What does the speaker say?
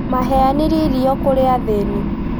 Maheanire irio kũrĩ athĩni